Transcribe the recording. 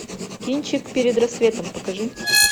кинчик перед рассветом покажи